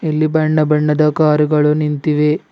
ಇಲ್ಲಿ ಬಣ್ಣ ಬಣ್ಣದ ಕಾರ್ ಗಳು ನಿಂತಿವೆ.